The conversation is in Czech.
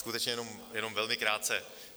Skutečně jenom velmi krátce.